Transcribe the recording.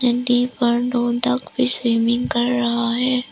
Duck भी swimming कर रहा है।